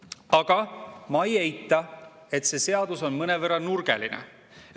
Aga ma ei eita, et see seadus on mõnevõrra nurgeline.